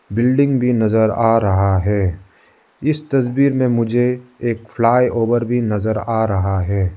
Building भी नजर आ रहा है इस तस्वीर में मुझे एक फ्लाई ओवर भी नजर आ रहा है।